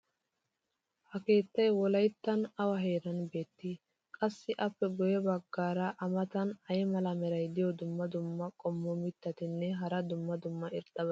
ha keettay wolayttan awa heeran beetii? qassi appe guye bagaara a matan ay mala meray diyo dumma dumma qommo mitatinne hara dumma dumma irxxabati beetiyoonaa?